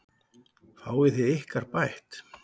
Fáið þið ykkar bætt.